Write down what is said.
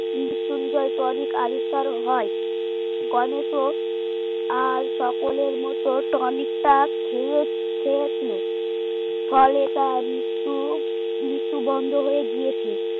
Mrityunjay tonic আবিষ্কার হয় গণেশ ও আর সকলের মত tonic টা খেয়ে খেয়েছিল ফলে তার মৃত্যু মৃত্যু বন্ধ হয়ে গিয়েছে।